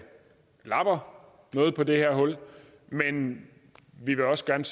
lapper noget på det her hul men vi vil også gerne